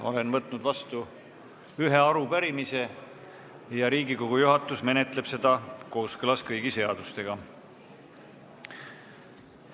Olen võtnud vastu ühe arupärimise, Riigikogu juhatus menetleb seda kooskõlas kõigi seadustega.